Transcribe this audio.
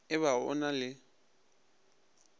e ba go na le